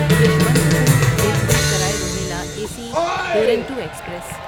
Yesvantpur Delhi Sarai Rohilla A C Duronto express